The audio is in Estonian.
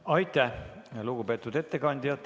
Aitäh, lugupeetud ettekandja!